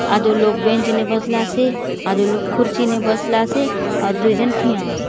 आदो लोग बेंच ने बसलासे आदो लोग कुर्सी ने बसलासे आउर दूय झन ठिया आ--